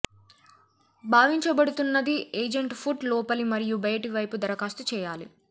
భావించబడుతున్నది agent foot లోపలి మరియు బయటి వైపు దరఖాస్తు చేయాలి